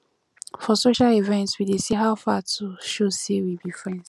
for social events we dey say how far to show sey we be friends